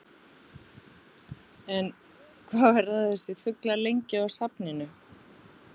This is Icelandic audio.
En, hvað verða þessir fuglar lengi á safninu?